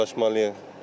Razılaşmalıyıq.